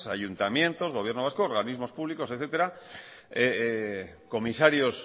ayuntamientos gobierno vasco organismos públicos etcétera comisarios